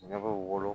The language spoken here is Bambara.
Ɲɛ bɛ wolo